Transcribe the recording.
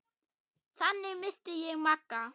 Þannig minnist ég Magga.